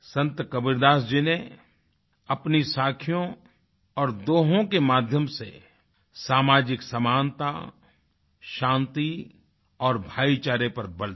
संत कबीरदास जी ने अपनी साखियों और दोहों के माध्यम से सामाजिक समानता शांति और भाईचारे पर बल दिया